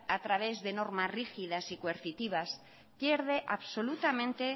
a través de normas rígidas y coercitivas pierde absolutamente